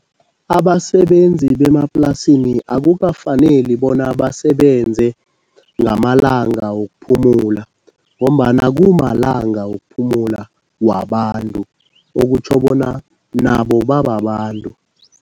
Abasebenzi bemaplasini akukafaneli bona basebenze ngamalanga wokuphumula ngombana kumalanga wokuphumula wabantu okutjho bona nabo babantu.